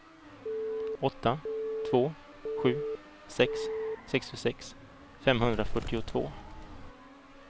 åtta två sju sex sextiosex femhundrafyrtiotvå